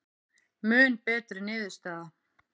Mun betri niðurstaða